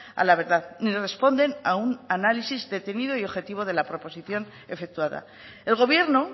a la verdad ni responden a un análisis detenido y objetivo de la proposición efectuada el gobierno